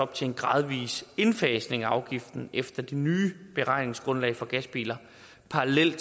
til en gradvis indfasning af afgiften efter det nye beregningsgrundlag for gasbiler parallelt